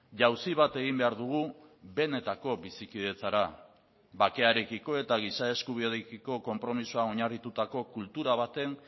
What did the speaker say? jauzi bat egin behar dugu benetako bizikidetzara bakearekiko eta giza eskubideekiko konpromisoa oinarritutako kultura baten